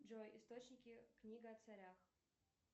джой источники книга о царях